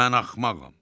Mən axmağam.